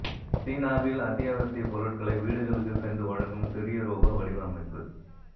சீனாவில் அத்தியாவசிய பொருட்களை வீடுகளுக்கு சென்று வழங்கும் சிறிய ரோபா வடிவமைப்பு